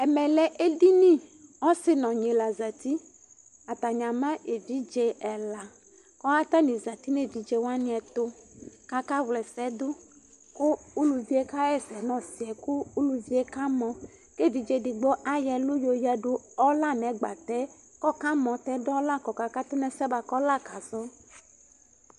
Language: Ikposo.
ɛmɛlɛ eɖiŋi ɔsi nu ɔŋi la zati Atani ama uvi ɛlaAtani zati nu evidze wanitu kaka ʋlɛsɛɖu Ku uluvi ka yɛsɛ nu ɔsiɛ ku ɔkamɔ ke evidze edigbo la yɔ ɛlu du nɛgbatɛ kɔka mɔtɛ ɔla kɔka katu nu ɛsɛ kɔla ka zɔ